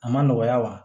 A ma nɔgɔya wa